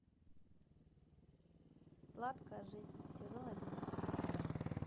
сладкая жизнь сезон одиннадцать